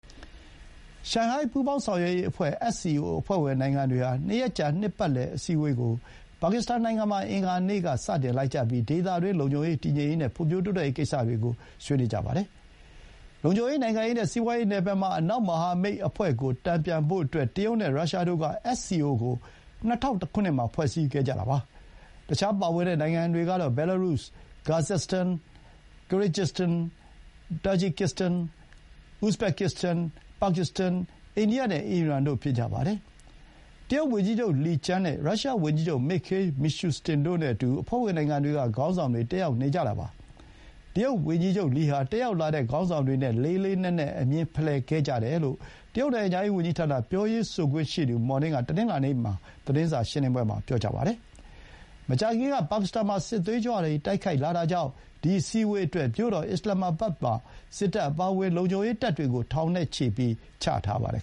ရှန်ဟိုင်း ပူးပေါင်းဆောင်ရွက်ရေးအဖွဲ့ SCO အဖွဲ့ဝင်နိုင်ငံတွေဟာ ၂ ရက်ကြာ နှစ်ပတ်လည် အစည်းအဝေးကို ပါကစ္စတန်နိုင်ငံမှာ အင်္ဂါနေ့ စတင်လိုက်ကြပြီး ဒေသတွင်း လုံခြုံရေး၊ တည်ငြိမ်ရေး နဲ့ ဖွံ့ဖြိုးတိုးတက်ရေးကိစ္စတွေကို ဆွေးနွေးကြပါတယ်။ လုံခြုံရေး၊ နိုင်ငံရေးနဲ့ စီးပွါးရေးနယ်ပယ်မှာ အနောက်မဟာမိတ်အဖွဲ့ကို တန်ပြန်ဖို့အတွက် တရုတ်နဲ့ ရုရှားတို့က SCO ကို ၂၀၀၁ မှာ ဖွဲ့စည်းခဲ့ကြတာပါ။ တခြား ပါဝင်တဲ့နိုင်ငံတွေကတော့ ဘဲလားရုစ် (Belarus)၊ ကာဇက်စတန် (Kazakhstan)၊ ကရစ်ဂျစတန် (Kyrgyzstan)၊ တာဂျီကစ်တန် (Tajikistan)၊ ဥဇဘက်ကစ်စတန် (Uzbekistan)၊ ပါကစ္စတန် (Pakistan)၊ အိန္ဒိယ (India) နဲ့ အီရန် (Iran) တို့ ဖြစ်ကြပါတယ်။ တရုတ်ဝန်ကြီးချုပ် လီကျန်း (Li Qiang) နဲ့ ရုရှားဝန်ကြီးချုပ် မစ်ခေးလ် မီရှုစတင် (Mikhail Mishustin) တို့နဲ့အတူ အဖွဲ့ဝင်နိုင်ငံတွေက ခေါင်းဆောင်တွေ တက်ရောက်နေကြတာပါ။ တရုတ်ဝန်ကြီးချုပ်လီဟာ တက်ရောက်လာတဲ့ခေါင်းဆောင်တွေနဲ့ လေးလေးနက်နက် အမြင်ဖလှယ်ခဲ့ ကြတယ်လို့ တရုတ်နိုင်ငံခြားရေးဝန်ကြီးဌာန ပြောရေးဆိုခွင့်ရှိသူမော်နင်းက တနင်္လာနေ့မနက် သတင်းစာရှင်းလင်းပွဲမှာ ပြောပါတယ်။ မကြာခင်က ပါကစ္စတန်မှာ စစ်သွေးကြွတွေ တိုက်ခိုက်လာတာကြောင့် ဒီ အစည်းအဝေးအတွက် မြို့တော် Islamabad မှာ စစ်တပ်အပါအဝင် လုံခြုံရေးတပ်တွေကို ထောင်ချီ ချထားပါတယ်